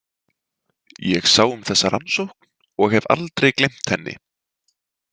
Ég sá um þessa rannsókn og hef aldrei gleymt henni.